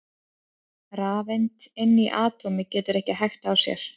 Rafeind inni í atómi getur ekki hægt á sér!